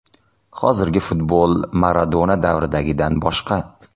Hozirgi futbol Maradona davridagidan boshqa.